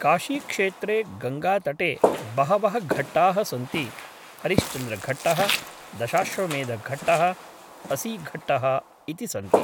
काशीक्षेत्रे गाङ्गातटे बहवः घट्टाः सन्ति हरिश्चन्द्रघट्टः दशाश्वमेधघट्टः असीघट्टः इति सन्ति